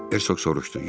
deyə Herkoq soruşdu.